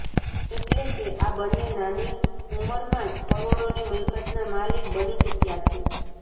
એટલે કે આ બન્ને નાની ઉંમરમાંજ કરો઼ડોની મિલકતના માલિક બની ચૂક્યા છે